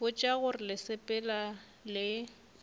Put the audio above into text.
botša gore le sepela le